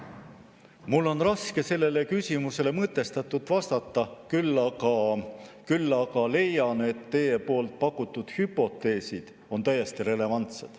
Mul on raske sellele küsimusele mõtestatult vastata, küll aga leian, et teie pakutud hüpoteesid on täiesti relevantsed.